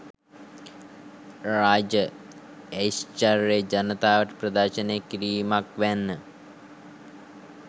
රාජ ඓශ්චර්යය ජනතාවට ප්‍රදර්ශනය කිරීමක් වැන්න.